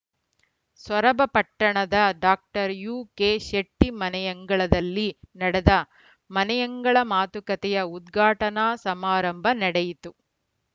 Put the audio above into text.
ಸೊರಬ ಪಟ್ಟಣದ ಡಾಕ್ಟರ್ ಯುಕೆಶೆಟ್ಟಿಮನೆಯಂಗಳದಲ್ಲಿ ನಡೆದ ಮನೆಯಂಗಳ ಮಾತುಕತೆಯ ಉದ್ಘಾಟನಾ ಸಮಾರಂಭ ನಡೆಯಿತು